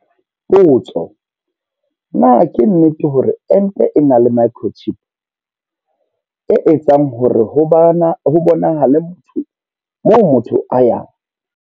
Potso. Na ke nnete hore ente e na le microchip, e etsang hore ho bonahale motho moo motho a yang?